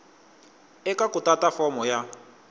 eka ku tata fomo ya